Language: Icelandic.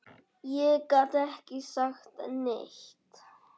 Ég gat ekki sagt neitt.